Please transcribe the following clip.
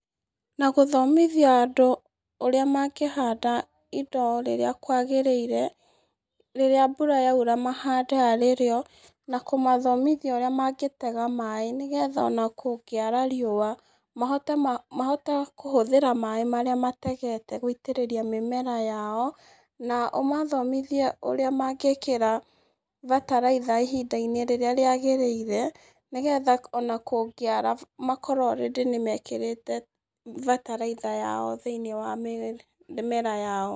Na gũthomithia andũ ũrĩa mangĩhanda indo rĩrĩa kwagĩrĩire rĩrĩa mbura yaura mahande arĩ rĩo, na kũmathomithia ũrĩa mangĩtega maaĩ nĩ getha ona kũngĩara rĩũa mahote kũhũthĩra maaĩ marĩa mategete gũitĩrĩria mĩmera yao, na ũmathomithie ũrĩa mangĩkĩra bataraitha ihinda-inĩ rĩrĩa rĩagĩrĩire, nĩ getha ona kũngĩara makorwo already nĩmekĩrĩte bataraitha yao thĩ-inĩ wa mĩmera yao.